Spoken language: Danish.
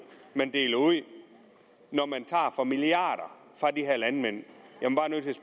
man deler ud når man tager milliarder af landmænd